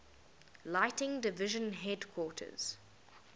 lighting division headquarters